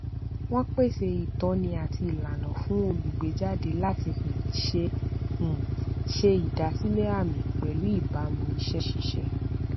wọn pèsè ìtọni àti ìlànà fún olùgbéjáde láti um ṣe um ṣe ìdásílẹ àmì pẹlú ìbámu iṣẹ ṣíṣe